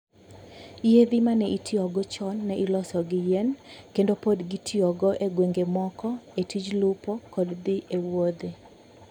Yiedhi ma ne itiyogo chon ne iloso gi yien, kendo pod gitiyogo e gwenge moko e tij lupo kod dhi e wuodhe.